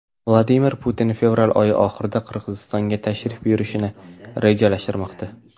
Vladimir Putin fevral oyi oxirida Qirg‘izistonga tashrif buyurishni rejalashtirmoqda.